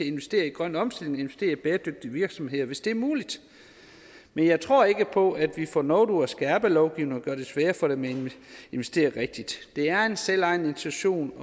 investere i grøn omstilling investere i bæredygtige virksomheder hvis det er muligt men jeg tror ikke på at vi får noget ud af at skærpe lovgivningen og gøre det sværere for dem at investere rigtigt det er en selvejende institution